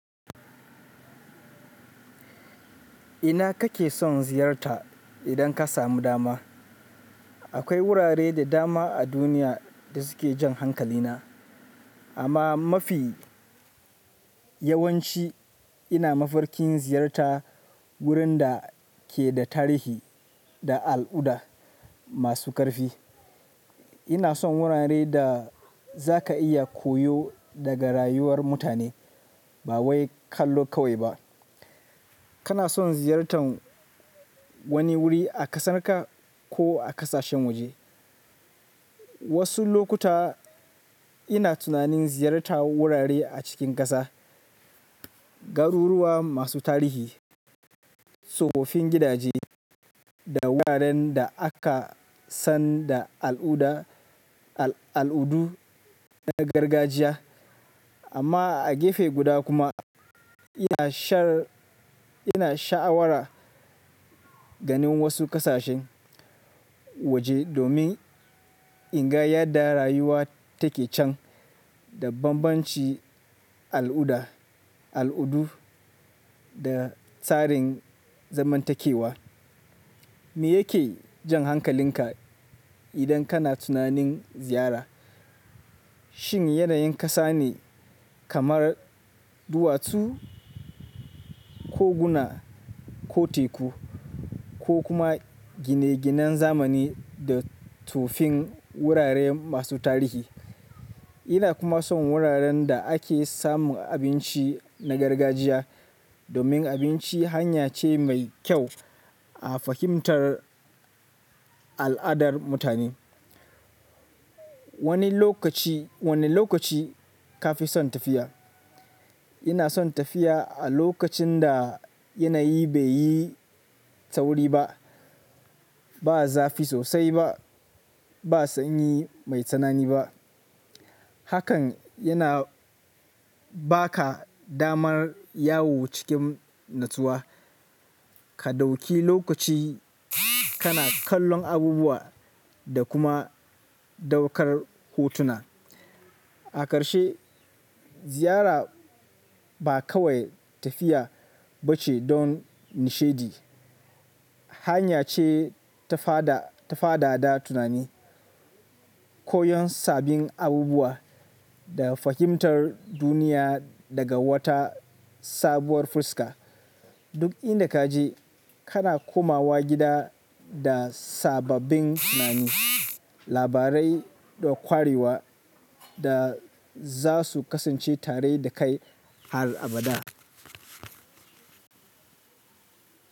Ina kake son ziyarta idan ka samu dama? Akwai wurare da dama a duniya da suke jan hankalina, amma mafi yawanci ina mafarkin ziyarta wurin da ke da tarihi da al'adu masu karfi. Ina son wuraren da za ka iya koyo daga rayuwar mutane, ba wai kallo kawai ba. Kana son ziyartan wani wuri a ƙasarka ko a ƙasashen waje? Wasu lokuta ina tunanin ziyartar wurare a cikin ƙasa, garuruwa masu tarihi, tsoffin gidaje, da wuraren da aka san da al'adu na gargajiya. Amma a gefe guda kuma, ina sha'awar ganin wasu ƙasashen waje domin in ga yadda rayuwa take can da bambancin al'adu da tsarin zamantakewa. Me yake jan hankalinka idan kana tunanin ziyara? Shin yanayin ƙasa ne kamar duwatsu ko guna ko teku, ko kuma gine-ginen zamani da tufin wurare masu tarihi? Ina kuma son wuraren da ake samun abinci na gargajiya, domin abinci hanya ce mai kyau a fahimtar al'adar mutane. Wane lokaci ka fi son tafiya? Ina son tafiya a lokacin da yanayi bai yi tsauri ba, ba zafi sosai ba, ba sanyi mai tsanani ba. Hakan yana ba ka damar yawo cikin natsuwa, ka ɗauki lokaci kana kallon abubuwa da kuma ɗaukar hotuna. A ƙarshe, ziyara ba kawai tafiya ba ce don nishaɗi. Hanya ce ta fadada tunani, koyon sabbin abubuwa, da fahimtar duniya daga wata sabuwar fuska. Duk inda kaje kana komawa gida da sa babbin tunani, labarai da kwarewa, da s- za su kasance tare da kai har abada.